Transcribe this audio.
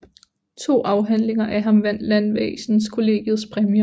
To afhandlinger af ham vandt Landvæsenskollegiets præmier